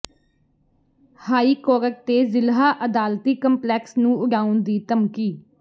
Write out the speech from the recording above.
high court ਤੇ ਜ਼ਿਲ੍ਹਾ ਅਦਾਲਤੀ ਕੰਪਲੈਕਸ ਨੂੰ ਉਡਾਉਣ ਦੀ ਧਮਕੀ